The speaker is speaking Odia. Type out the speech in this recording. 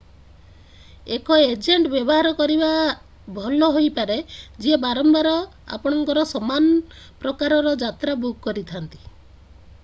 ଏକ ଏଜେଣ୍ଟ ବ୍ୟବହାର କରିବା ଭଲ ହୋଇପାରେ ଯିଏ ବାରମ୍ବାର ଆପଣଙ୍କର ସମାନ ପ୍ରକାରର ଯାତ୍ରା ବୁକ୍ କରିଥାନ୍ତି